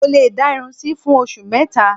Mo lè dá irun sí fún oṣù mẹ́ta